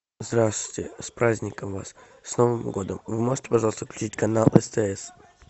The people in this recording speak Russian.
здравствуйте с праздником вас с новым годом вы можете пожалуйста включить канал стс